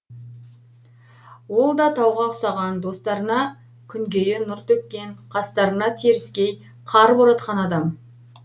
ол да тауға ұқсаған достарына күнгейі нұр төккен қастарына теріскей қар боратқан адам